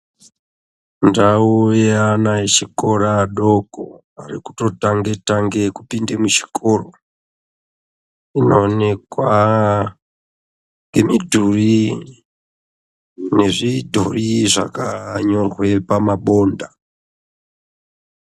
Ndau yeana echikora adoko arikutotange tange kupinde muchikoro inoonekwa ngemidhuri nezvidhori zvakanyorwa pamabonda